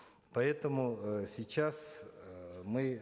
поэтому э сейчас э мы